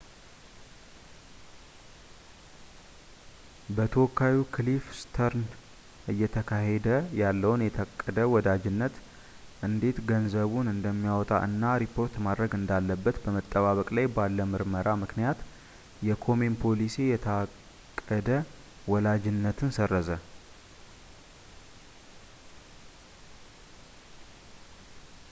በተወካዩ ክሊፍ ስተርንስ እየተካሄደ ያለውን የታቀደ ወላጅነት እንዴት ገንዘቡን እንደሚያወጣ እና ሪፖርት ማድረግ እንዳለበት በመጠባበቅ ላይ ባለ ምርመራ ምክንያት የኮሜን ፖሊሲ የታቀደ ወላጅነትን ሰረዘ